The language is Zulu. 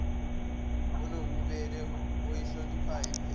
onobubele oyihloniphayo imvelo